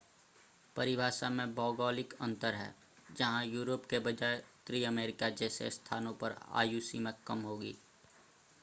परिभाषा में भौगोलिक अंतर है जहां यूरोप के बजाय उत्तरी अमेरिका जैसे स्थानों पर आयु सीमा कम होगी